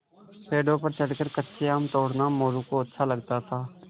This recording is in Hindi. पेड़ों पर चढ़कर कच्चे आम तोड़ना मोरू को अच्छा लगता था